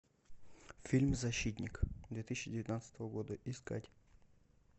фильм защитник две тысячи девятнадцатого года искать